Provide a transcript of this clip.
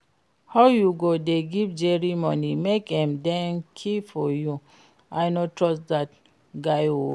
How you go dey give Jerry money make im dey keep for you, I no trust dat guy oo